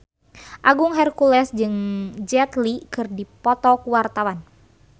Agung Hercules jeung Jet Li keur dipoto ku wartawan